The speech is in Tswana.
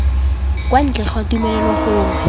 kwa ntle ga tumelelo gongwe